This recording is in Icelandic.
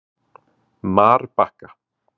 Marbakka